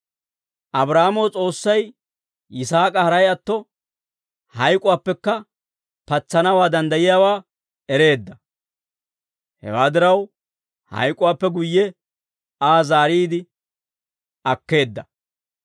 Abraahaamo S'oossay Yisaak'a haray atto, hayk'uwaappekka patsanaw danddayiyaawaa ereedda; hewaa diraw, hayk'uwaappe guyye Aa zaariide akkeedda.